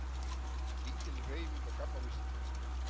Lítil hreyfing á GAMMA vísitölu